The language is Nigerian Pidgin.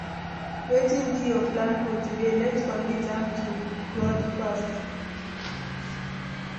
Wetin be your plan for today? Let’s commit am to God first.